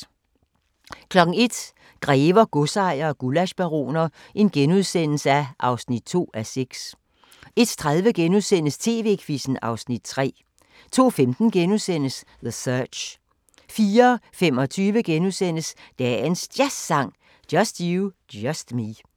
01:00: Grever, godsejere og gullaschbaroner (2:6)* 01:30: TV-Quizzen (Afs. 3)* 02:15: The Search * 04:25: Dagens Jazzsang: Just You, Just Me *